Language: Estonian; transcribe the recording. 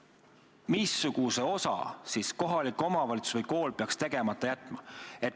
Missuguse osa siis kohalik omavalitsus või kool peaks tegemata jätma?